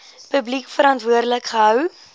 publiek verantwoordelik gehou